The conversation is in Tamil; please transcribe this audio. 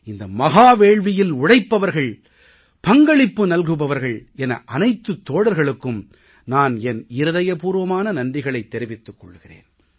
இந்த மகா வேள்வியில் உழைப்பவர்கள் பங்களிப்பு நல்குபவர்கள் என அனைத்துத் தோழர்களுக்கும் நான் என் இருதயபூர்வமான நன்றிகளைத் தெரிவித்துக் கொள்கிறேன்